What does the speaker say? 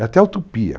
É até utopia.